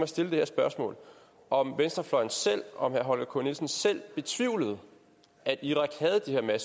stille det her spørgsmål om venstrefløjen og herre holger k nielsen selv betvivlede at irak havde de her